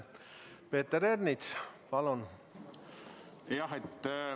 Peeter Ernits, palun!